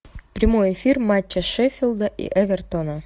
прямой эфир матча шеффилда и эвертона